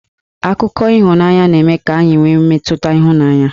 Akụkọ ịhụnanya na-eme ka anyị nwe mmetụta ịhụnanya